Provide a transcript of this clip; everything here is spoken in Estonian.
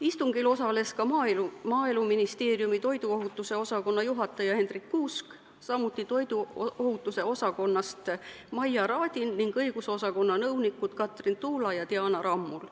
Istungil osales ka Maaeluministeeriumi toiduohutuse osakonna juhataja Hendrik Kuusk, samuti toiduohutuse osakonnast Maia Radin ning õigusosakonna nõunikud Katrin Tuula ja Diana Rammul.